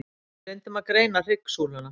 Við reyndum að greina hryggsúluna.